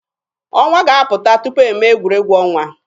Ọnwa ga-apụta tupu eme egwuregwu ọnwa.